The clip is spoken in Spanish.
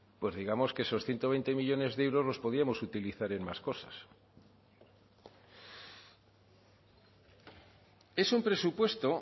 pues digamos que esos ciento veinte millónes de euros los podíamos utilizar en más cosas es un presupuesto